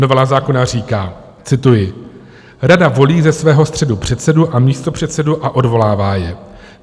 Novela zákona říká - cituji: "Rada volí ze svého středu předsedu a místopředsedu a odvolává je.